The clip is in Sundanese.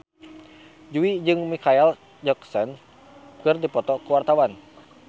Jui jeung Micheal Jackson keur dipoto ku wartawan